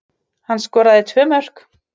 Hann skoraði tvö mörk